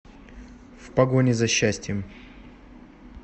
в погоне за счастьем